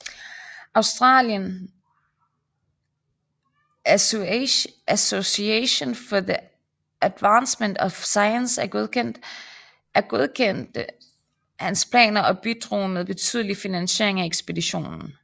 Australian Association for the Advancement of Science godkendte hans planer og bidrog med betydelig finansiering af ekspeditionen